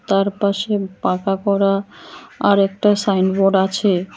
তার পাশে পাকা করা আর একটা সাইনবোর্ড আছে।